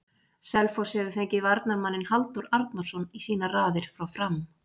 Selfoss hefur fengið varnarmanninn Halldór Arnarsson í sínar raðir frá Fram.